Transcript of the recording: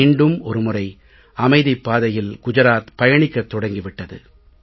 மீண்டும் ஒரு முறை அமைதிப் பாதையில் குஜராத் பயணிக்கத் தொடங்கி விட்டது